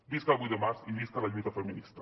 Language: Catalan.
visca el vuit de març i visca la lluita feminista